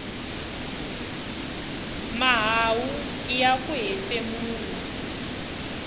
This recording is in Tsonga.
mahawu iya ku hefemula